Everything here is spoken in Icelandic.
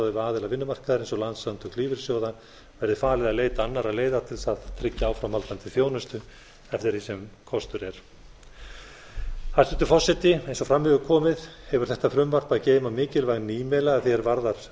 við aðila vinnumarkaðarins og landssamtök lífeyrissjóða verði falið að leita annarra leiða til að tryggja áframhaldandi þjónustu eftir því sem kostur er hæstvirtur forseti eins og fram hefur komið hefur þetta frumvarp að geyma mikilvæg nýmæli að því er varðar